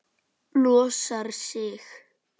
Losar sig.